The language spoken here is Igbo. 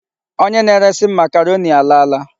Onye na-eresi m makaroni alaala.